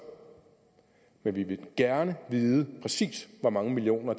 men vi vil gerne vide præcis hvor mange millioner